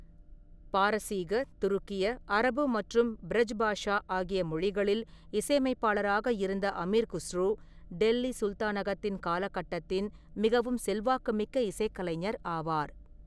பாரசீக, துருக்கிய, அரபு மற்றும் பிரஜ் பாஷா ஆகிய மொழிகளில் இசையமைப்பாளராக இருந்த அமீர் குஸ்ரூ, டெல்லி சுல்தானகத்தின் காலகட்டத்தின் மிகவும் செல்வாக்கு மிக்க இசைக்கலைஞர் ஆவார்.